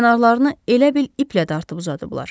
Kənarlarını elə bil iplə dartıb uzadıblar.